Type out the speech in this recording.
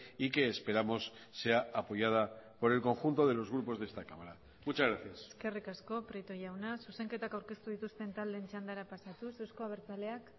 y que esperamos sea apoyada por el conjunto de los grupos de esta cámara muchas gracias eskerrik asko prieto jauna zuzenketak aurkeztu dituzten taldeen txandara pasatuz eusko abertzaleak